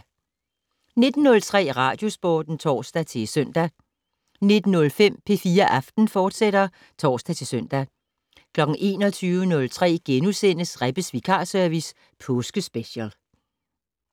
19:03: Radiosporten (tor-søn) 19:05: P4 Aften, fortsat (tor-søn) 21:03: Rebbes vikarservice - påskespecial *